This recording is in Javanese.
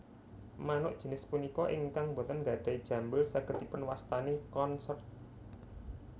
Manuk jinis punika ingkang boten nggadhahi jambul saged dipunwastani Consort